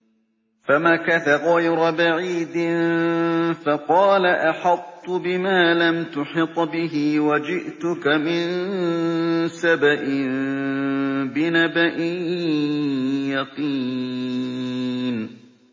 فَمَكَثَ غَيْرَ بَعِيدٍ فَقَالَ أَحَطتُ بِمَا لَمْ تُحِطْ بِهِ وَجِئْتُكَ مِن سَبَإٍ بِنَبَإٍ يَقِينٍ